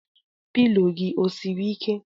Pilo gị o siri ike?